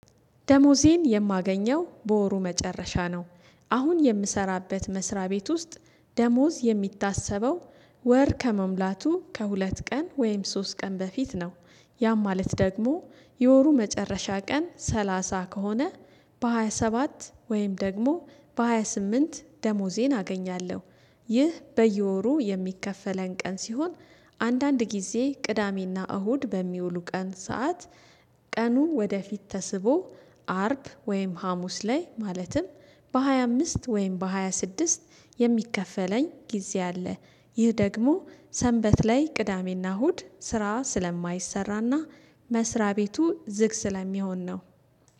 ደሞዜን የማገኘው በወሩ መጨረሻ ነው። አሁን የምሰራበት መስሪያ ቤት ውስጥ ደሞዝ የሚታሰበው ወር ከመሙላቱ ከሁለት ቀን ወይም ሶስት ቀን በፊት ነው። ያም ማለት ደግሞ የወሩ መጨረሻ ቀን ሰላሳ ከሆነ በሃያ ሰባት ወይም ደግሞ በሃያ ስምንት ደሞዜን አገኛለሁ። ይህ በየወሩ የሚከፈለን ቀን ሲሆን አንዳንድ ጊዜ ቅዳሜና እሁድ በሚውሉ ቀን ሰዓት ቀኑ ወደፊት ተስቦ አርብ ወይም ሀሙስ ላይ ማለትም በሃያ አምስት ወይም በሃያ ስድስት የሚከፈለኝ ጊዜ አለ። ይህ ደግሞ ሰንበት ላይ ቅዳሜና እሁድ ስራ ስለማይሰራና መስሪያ ቤቱ ዝግ ስለሚሆን ነው።